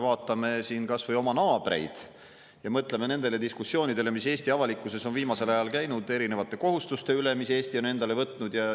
Vaatame kas või oma naabreid ja mõtleme nendele diskussioonidele, mis Eesti avalikkuses on viimasel ajal käinud erinevate kohustuste üle, mis Eesti on endale võtnud.